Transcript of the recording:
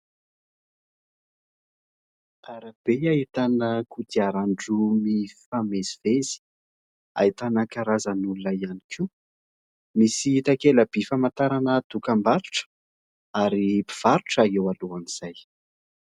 Arabe ahitana kodiaran-droa mifamezivezy, ahitana karazan' olona ihany koa. Misy takela-by famantarana dokam-barotra ary mpivarotra eo alohan'izay.